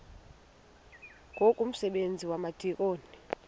ngoku umsebenzi wabadikoni